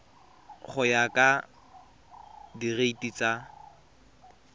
go ya ka direiti tsa